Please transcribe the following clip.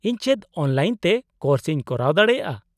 -ᱤᱧ ᱪᱮᱫ ᱚᱱᱞᱟᱭᱤᱱ ᱛᱮ ᱠᱳᱨᱥ ᱤᱧ ᱠᱚᱨᱟᱣ ᱫᱟᱲᱮᱭᱟᱜᱼᱟ ?